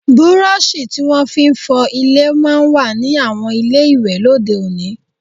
Burọ̀ṣì tí wọ́n fi ń fọ ilẹ̀ máa ń wà ní àwọn ilé ìwẹ̀ lóde òní